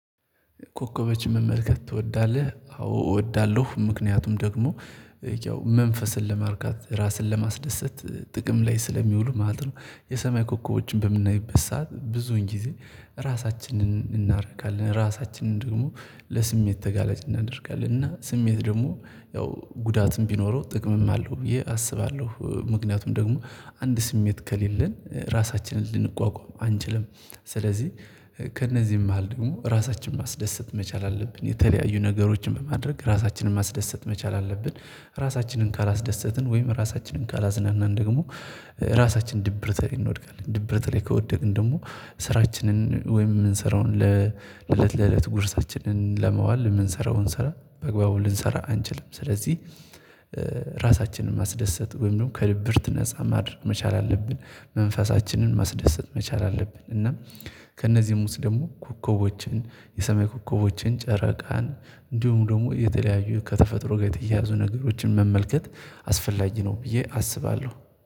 ኮከቦችን መመልከት ትወዳለህ? አዎ እወዳለሁ ምክንያቱም ደግሞ ያው መንፈስን ለማርካት ራስን ለማስደሰት ጥቅም ላይ ስለሚውሉ ማለት ነው የሰማይ ኮከቦችን በምናይበት ሰዓት ብዙውን ጊዜ ራሳችንን እናረካለን ራሳችንን ደግሞ ለስሜት ተጋላጭ እናደርጋለን እና ስሜት ደግሞ ያው ጉዳትም ቢኖረው ጥቅምም አለው ብዬ አስባለሁ ምክንያቱም ደግሞ አንድ ስሜት ከሌለን ራሳችንን ልንቋቋም አንችልም ስለዚህ ከእነዚህም መሃል ደግሞ ራሳችንን ማስደሰት መቻል አለብን የተለያዩ ነገሮችን በማድረግ ራሳችንን ማስደሰት መቻል አለብን ራሳችንን ካላስደሰትን ወይም ራሳችንን ካላዝናናን ደግሞ ራሳችን ድብርት ላይ እንወድቃለን ድብርት ላይ ከወደቅን ደግሞ ስራችንን ወይም የምንሰራውን ለእለት ለእለት ጉርሳችንን ለመዋል የምንሰራውን ስራ በአግባቡ ልንሰራ አንችልም ስለዚህ ራሳችንን ማስደሰት ወይም ደግሞ ከድብርት ነፃ ማድረግ መቻል አለብን መንፈሳችንን ማስደሰት መቻል አለብን እና ከእነዚህም ውስጥ ደግሞ ኮከቦችን የሰማይ ኮከቦችን ጨረቃን እንዲሁም ደግሞ የተለያዩ ከተፈጥሮ ጋር የተያያዙ ነገሮችን መመልከት አስፈላጊ ነው ብዬ አስባለሁ